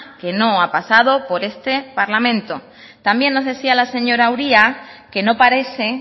que no ha pasado por este parlamento también nos decía la señora uria que no parece